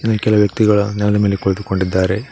ಕೆಲವು ವ್ಯಕ್ತಿಗಳ ನೆಲದ ಮೇಲೆ ಕುಳಿತುಕೊಂಡಿದ್ದಾರೆ.